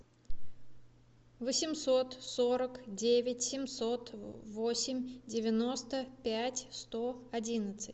восемьсот сорок девять семьсот восемь девяносто пять сто одиннадцать